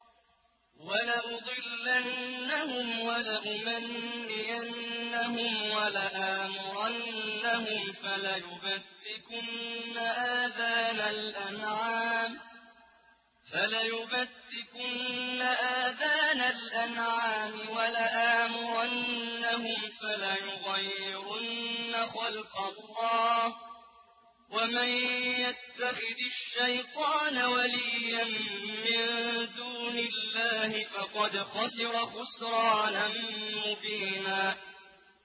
وَلَأُضِلَّنَّهُمْ وَلَأُمَنِّيَنَّهُمْ وَلَآمُرَنَّهُمْ فَلَيُبَتِّكُنَّ آذَانَ الْأَنْعَامِ وَلَآمُرَنَّهُمْ فَلَيُغَيِّرُنَّ خَلْقَ اللَّهِ ۚ وَمَن يَتَّخِذِ الشَّيْطَانَ وَلِيًّا مِّن دُونِ اللَّهِ فَقَدْ خَسِرَ خُسْرَانًا مُّبِينًا